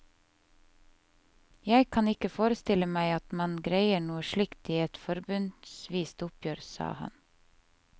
Jeg kan ikke forestille meg at man greier noe slikt i et forbundsvist oppgjør, sa han.